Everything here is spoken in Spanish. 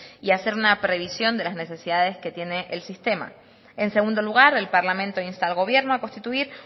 y hacer una previsión de las necesidades que tiene el sistema en segundo lugar el parlamento insta al gobierno a constituir